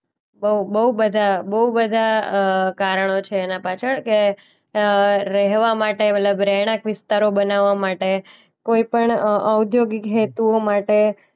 બો બોઉ બધા બોઉ બધા અ કારણો છે એના પાછળ કે અ રહેવા માટે મતલબ રહેણાંક વિસ્તારો બનાવા માટે. કોઈ પણ અ ઔદ્યોગિક હેતુઓ માટે.